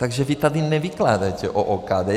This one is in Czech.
Takže vy tady nevykládejte o OKD!